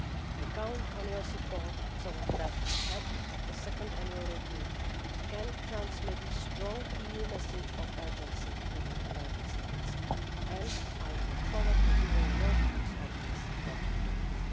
I count on your support so that ahead of the second annual review we can transmit a strong EU message of urgency to the United States, and I look forward to hearing your views on this important topic.